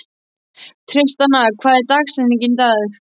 Tristana, hver er dagsetningin í dag?